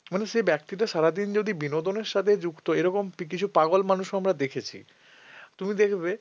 মানে সেই ব্যক্তিটা সারাদিন যদি বিনোদনের সঙ্গে যুক্ত এরকম কিছু পাগল মানুষও আমরা দেখেছি তুমি দেখবে